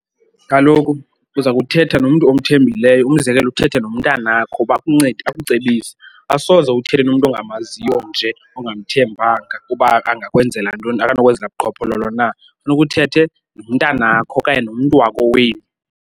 Kaloku uza kuthetha nomntu omthembileyo, umzekelo uthethe nomntanakho uba akuncede akucebise. Asoze uthethe nomntu ongamaziyo nje ongamthembanga uba angakwenzela ntoni, akanokwenzela buqhophololo na. Funeka uthethe nomntanakho okanye nomntu wakowenu.